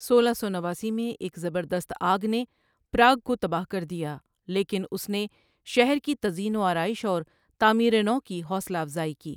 سولہ سو نواسی میں، ایک زبردست آگ نے پراگ کو تباہ کر دیا، لیکن اس نے شہر کی تزئین و آرائش اور تعمیر نو کی حوصلہ افزائی کی۔